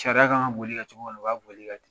Sariya ka kan ka boli kan cogo mina o b'a boli ka ten.